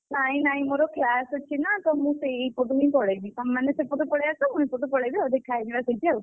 ନାଇଁ ନାଇଁ ମୋର class ଅଛି ନାଁ ତ ସେଇପଟୁ ହିଁ ମୁଁ ପଳେଇବି। ତମେ ମାନେ ସେପଟୁ ପଳେଇ ଆସ ମୁଁ ଏପଟୁ ପଳେଇବି ଆଉ, ଦେଖା ହେଇଯିବା ସେଇଠି ଆଉ।